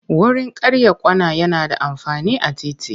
Wurin karya kwana yana da amfani a titi.